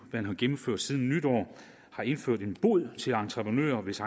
man har gennemført siden nytår har indført en bod til entreprenører hvis